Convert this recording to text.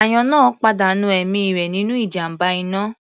Àyàn náà pàdánù ẹ̀mí rẹ̀ nínú ìjàmbá iná.